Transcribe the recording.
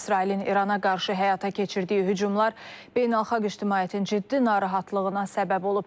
İsrailin İrana qarşı həyata keçirdiyi hücumlar beynəlxalq ictimaiyyətin ciddi narahatlığına səbəb olub.